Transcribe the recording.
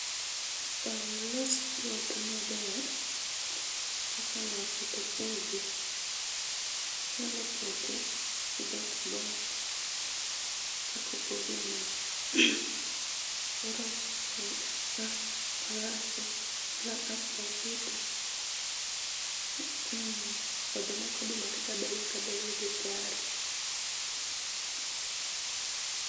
Aaah, olos puodho maber, koseloso topoge .Inyalo poge e box box kaka opoge no koro, kas, ,alafu, kasto pitho, mmh, kod mok oduma kata bel ka bel gi kare